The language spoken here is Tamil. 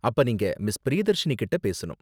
அப்ப நீங்க மிஸ். பிரியதர்ஷினி கிட்ட பேசணும்.